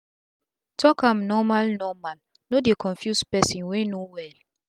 talk am normal normal no dey confuse persin wey no well